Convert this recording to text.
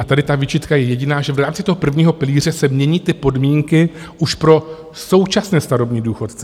A tady ta výčitka je jediná, že v rámci toho prvního pilíře se mění ty podmínky už pro současné starobní důchodce.